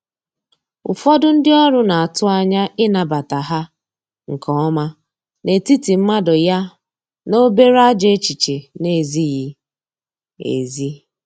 ụfọdụ ndi ọrụ n'atụ anya ịnabata ha nke ọma n’etiti mmadụ ya na obere ajọ echiche na ezighi ezi